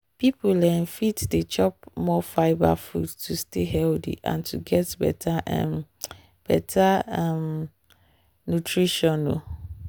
people um fit dey chop more fibre food to stay healthy and get better um better um nutrition. um